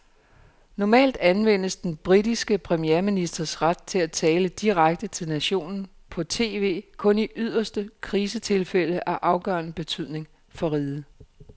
Normalt anvendes den britiske premierministers ret til at tale direkte til nationen på tv kun i yderste krisetilfælde af afgørende betydning for riget.